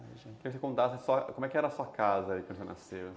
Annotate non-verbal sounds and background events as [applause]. [unintelligible] Eu queria que você contasse só, como é que era a sua casa quando você nasceu.